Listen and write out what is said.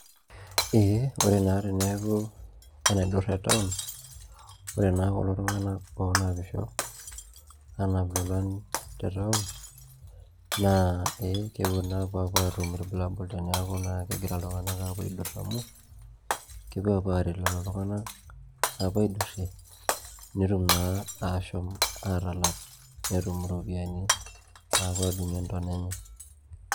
Ee ore naa teneeku enaidurra etown ore naa kulo tung'anak oonapisho aanap ilolan te town naa kepuo naa apuo aatum irbulabul teneeku naa kegira iltung'anak aapuo aidurr amu kepuo aapuo aaret lelo tung'anak apuo aidurrie nitum naa aashom aatalak pee etum irpopiyiani naapuo aadung'ie ntana enye.